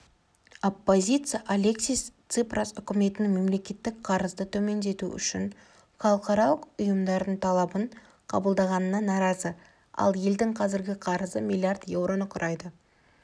оппозиция алексис ципрас үкіметінің мемлекеттік қарызды төмендету үшін халықаралық ұйымдардың талабын қабылдағанына наразы ал елдің қазіргі қарызы миллиард еуроны құрайды